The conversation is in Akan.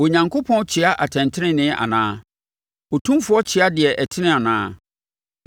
Onyankopɔn kyea atɛntenenee anaa? Otumfoɔ kyea deɛ ɛtene anaa?